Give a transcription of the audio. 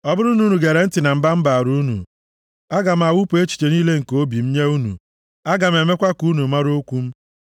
Ọ bụrụ na unu gere ntị na mba m na-abara unu, aga m awụpụ echiche niile nke obi m nye unu, aga m emekwa ka unu mara okwu m.